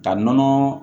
Ka nɔnɔ